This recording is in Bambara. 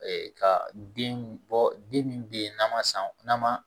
Ee ka den bɔ den min bɛ yen n'a ma san n'a ma